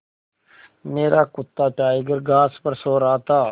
मेरा कुत्ता टाइगर घास पर सो रहा था